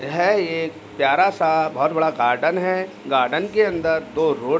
यह एक प्यारा सा बहोत बड़ा गार्डन है। गार्डन के अंदर दो रोड --